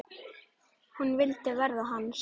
Hún vildi verða hans.